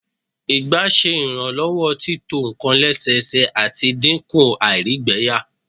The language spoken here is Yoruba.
ẹyin ọgba ṣe iranlọwọ tito nkan lẹsẹsẹ, ati dinku àìrígbẹyà